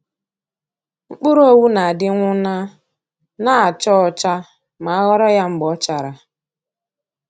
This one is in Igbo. Mkpụrụ owu na-adị nwụnaa, na a cha ọcha ma a ghọrọ ya mgbe ọ chara.